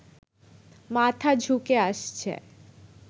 মাথা ঝুঁকে আসছে